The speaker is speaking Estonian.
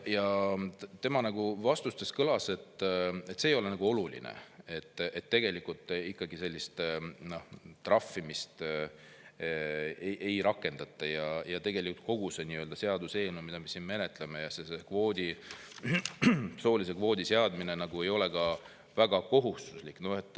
Jürgen Ligi vastustest kõlas, et see ei ole nagu oluline, tegelikult sellist trahvimist ikkagi ei rakendata ja kogu see seaduseelnõu, mida me siin menetleme, ja soolise kvoodi seadmine väga kohustuslik ei ole.